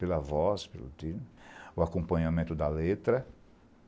Pela voz, pelo timbre o acompanhamento da letra.